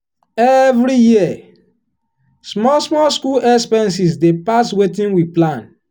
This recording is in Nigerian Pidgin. the family plan wey dem dey save together help her retirement goals well.